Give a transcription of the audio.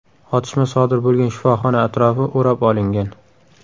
Otishma sodir bo‘lgan shifoxona atrofi o‘rab olingan.